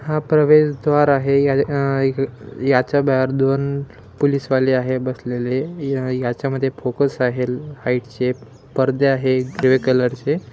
हा प्रवेशद्वार आहे याच्या बाहेर दोन पुलिसवाले आहे बसलेले या याच्यामध्ये फोकस आहे परदे आहे ग्रे कलरचे --